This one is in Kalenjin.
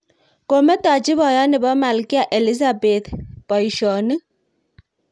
Kometachi boiyot nebo Malkia Elizabeth boishonik